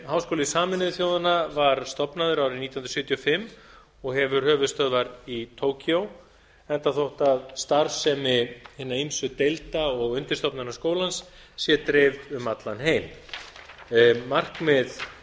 háskóli sameinuðu þjóðanna var stofnaður árið nítján hundruð sjötíu og fimm og hefur höfuðstöðvar í tókíó enda þótt starfsemi hinna ýmsu deilda og undirstofnana skólans sé dreifð um heim allan